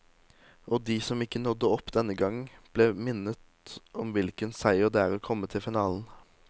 Og de som ikke nådde opp denne gang, ble minnet om hvilken seier det er å komme til finalen.